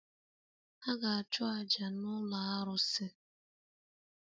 Ha ga-achụ àjà n’ụlọ arụsị